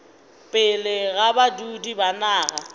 pele ga badudi ba naga